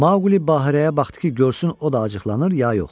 Maquli Bahirəyə baxdı ki, görsün o da acıqlanır ya yox.